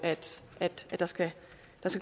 der skal